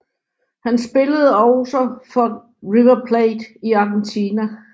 Han spillede også for River Plate i Argentina